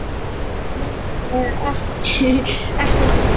Nei, nei, ég hef ekkert lært.